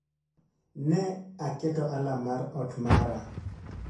Ne aketo alarm mar ot mara